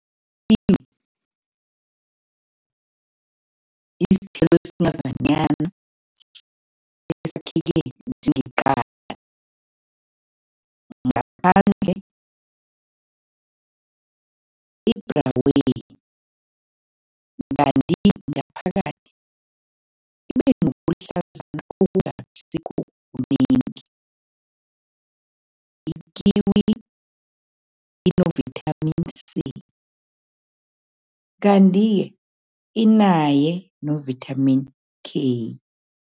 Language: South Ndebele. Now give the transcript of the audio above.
Ikiwi isithelo esincazanyana esakheke njengeqanda. Ngaphandle ibhraweni kanti ngaphakathi ibe nobuhlazana obungasikho kunengi. Ikiwi ino-Vitamin C kanti-ke inaye no-Vitamin K.